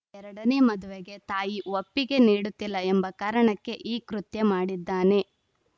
ಎರಡನೇ ಮದುವೆಗೆ ತಾಯಿ ಒಪ್ಪಿಗೆ ನೀಡುತ್ತಿಲ್ಲ ಎಂಬ ಕಾರಣಕ್ಕೆ ಈ ಕೃತ್ಯ ಮಾಡಿದ್ದಾನೆ